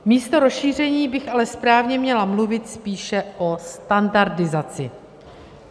Místo rozšíření bych ale správně měla mluvit spíše o standardizaci.